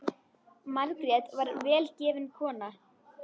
Margrét var vel gefin kona.